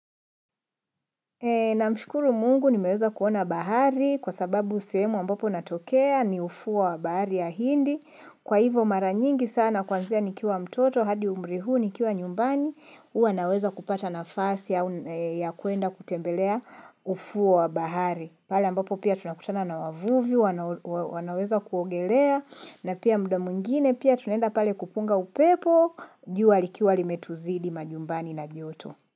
Namshukuru mungu nimeweza kuona bahari kwa sababu sehemu ambapo natokea ni ufuo wa bahari ya hindi. Kwa hivo mara nyingi sana kwanzia nikiwa mtoto hadi umri huu nikiwa nyumbani uwa naweza kupata nafasi ya kuenda kutembelea ufuo wa bahari. Pale ambapo pia tunakutana na wavuvi wanaweza kuogelea na pia mda mwingine pia tunaenda pale kupunga upepo juwa likiwa limetuzidi majumbani na joto.